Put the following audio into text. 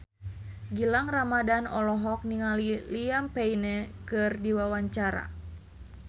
Gilang Ramadan olohok ningali Liam Payne keur diwawancara